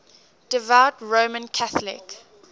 devout roman catholic